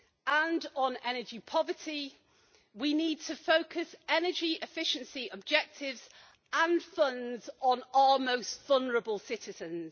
And on energy poverty, we need to focus energy efficiency objectives and funds on our most vulnerable citizens.